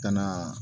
Ka na